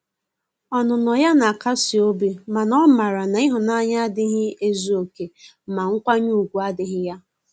Ọnụnọ ya na akasi obi ,mana o mara na ihunanya agahi ezu oke ma nkwanye ugwu adighi ya.